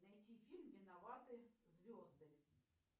найти фильм виноваты звезды